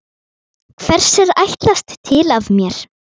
Hvers er ætlast til af mér?